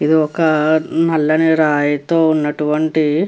ఇది ఒక నల్లని రాయితో ఉన్నటువంటి --